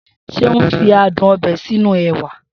Seun fi adùn ọbẹ̀ sínú ẹwà